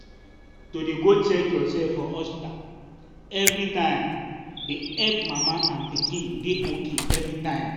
to dey go check yoursef for hospta everi time dey epp mama and pikin dey ok everytime.